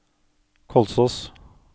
Kolsås